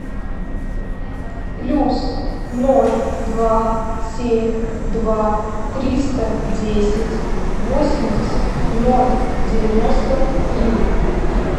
плюс ноль два семь два триста десять восемьдесят ноль девяносто три